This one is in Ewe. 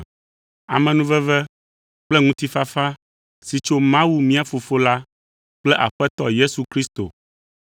Amenuveve kple ŋutifafa si tso Mawu, mía Fofo la kple Aƒetɔ Yesu Kristo,